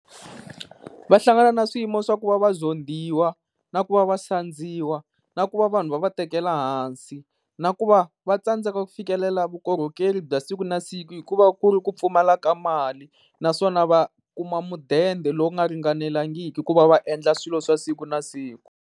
Va hlangana na swiyimo swa ku va va zondhiwa, na ku va va sandziwa na ku va vanhu va va tekela hansi. Na ku va vatsandzeka ku fikelela vukorhokeri bya siku na siku, hikuva ku ri ku pfumala ka mali. Naswona va kuma mudende lowu nga ringanelangiki ku va va endla swilo swa siku na siku.